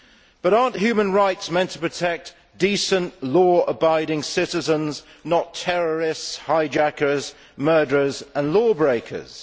But are human rights not meant to protect decent, law abiding citizens, not terrorists, hijackers, murderers and law breakers?